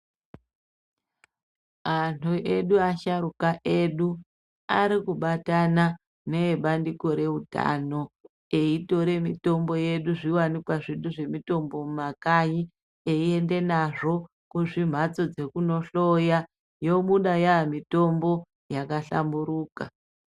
Antu edu asharukwa edu arikubatana nebandiko rehutano eitora mitombo yedu nezviwanikwa zvedu zvemitombo mumakanyi einda nazvo kuzvimhatso zvekundohloya yobuda yamitombo yakahlamburuka.